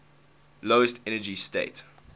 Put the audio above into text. lowest energy state